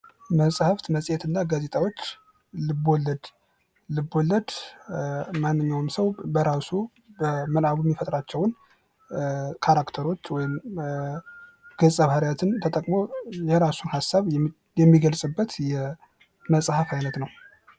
መጻህፍት መጽሔትና ጋዜጣዎች ልብወለድ፡- ልብወለድ ማንኛውም ሰው በራሱ ወይንም በምናቡ በካራክተር ወይንም ገጸ ባህርያትን ተጠቅሞ የራሱን ሀሳብ የሚገልጽበት የመጽሐፍ አይነት ነው።